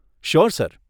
Sure sir.